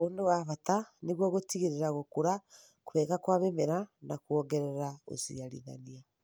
ũũ nĩ wa bata nĩguo gũtigĩrĩra gũkũra kwega kwa mĩmera na kuongerera ũciarithania.